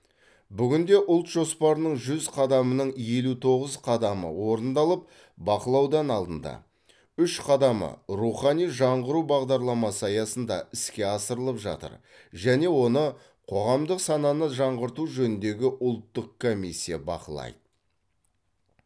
бүгінде ұлт жоспарының жүз қадамының елу тоғыз қадамы орындалып бақылаудан алынды үш қадамы рухани жаңғыру бағдарламасы аясында іске асырылып жатыр және оны қоғамдық сананы жаңғырту жөніндегі ұлттық комиссия бақылайды